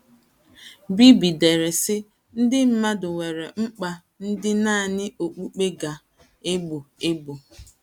Bibby dere, sị: “ Ndị mmadụ nwere mkpa ndị nanị okpukpe ga - egbo. egbo. ”